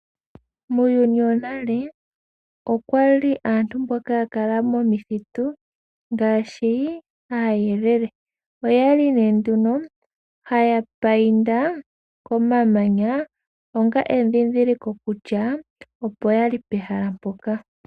Muuyuni wonale okwali aantu mboka ya kala momithitu ngaashi aayelele. Oyali haya painta komamanya onga edhindhiliko kutya opo yali pehala mpoka.